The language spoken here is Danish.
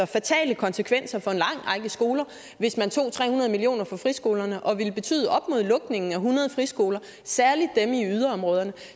fatale konsekvenser for en lang række skoler hvis man tog tre hundrede million kroner fra friskolerne og ville betyde lukningen af op mod hundrede friskoler særlig dem i yderområderne